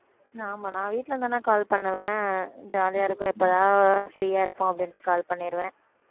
ஆமா நான் வீட்டில இருந்தேன்னா call பண்ணுவேன் jolly ஆ இருக்கும் எப்பதான் free ஆ இருப்போம் அப்படின்னுட்டு call பண்ணிருவேன்